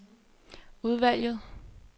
udvalget